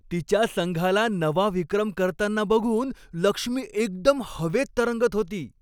तिच्या संघाला नवा विक्रम करताना बघून लक्ष्मी एकदम हवेत तरंगत होती.